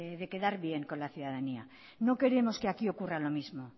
de quedar bien con la ciudadanía no queremos que aquí ocurra lo mismo